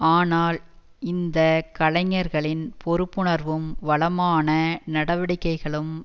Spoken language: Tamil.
ஆனால் இந்த கலைஞர்களின் பொறுப்புணர்வும் வளமான நடவடிக்கைகளும்